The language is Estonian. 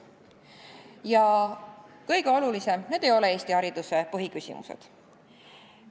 Ja mis kõige olulisem: need ei ole Eesti hariduse põhiküsimused.